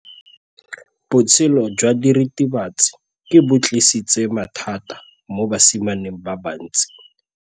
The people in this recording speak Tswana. Botshelo jwa diritibatsi ke bo tlisitse mathata mo basimaneng ba bantsi.